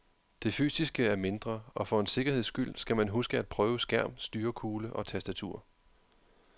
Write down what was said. Det fysiske er mindre, og for en sikkerheds skyld skal man huske at prøve skærm, styrekugle og tastatur.